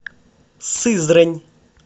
сызрань